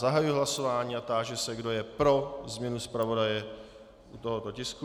Zahajuji hlasování a táži se, kdo je pro změnu zpravodaje u tohoto tisku.